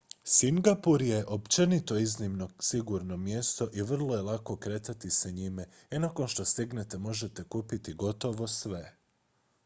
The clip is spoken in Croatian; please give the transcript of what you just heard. singapur je općenito iznimno sigurno mjesto i vrlo je lako kretati se njime i nakon što stignete možete kupiti gotovo sve